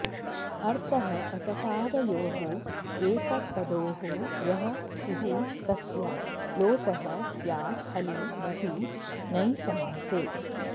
अर्थः अककारयोः एतत्तदोः यः सुः तस्य लोपः स्यात् हलि न तु नञ् समासे